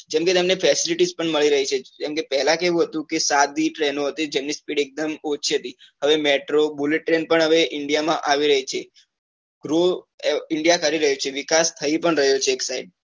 જેમ કે તમને facility પણ મળી રહી છે કેમ કે પેલા કેવું હતું કે સાત ડી train હતી જેમની speed એકદમ ઓછી હતી હવે metrobullet train પણ હવે india માં આવી રહી છે growindia કરી રહ્યું છે વિકાસ થઇ પણ રહ્યો છે એક side